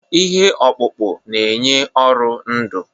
Ihe ọkpụkpụ na-enye ụrọ ndụ.